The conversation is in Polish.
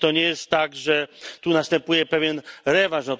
Czy to nie jest tak, że tu następuje pewien rewanż?